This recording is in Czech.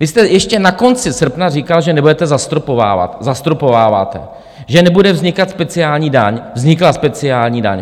Vy jste ještě na konci srpna říkal, že nebudete zastropovávat - zastropováváte, že nebude vznikat speciální daň - vznikla speciální daň.